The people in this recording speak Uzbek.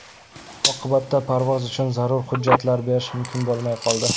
Oqibatda parvoz uchun zarur hujjatlar berish mumkin bo‘lmay qoldi.